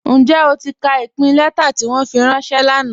Njẹ́ o ti ka ipin lẹ̀tà ti wọn fi ranṣẹ̀ lánà?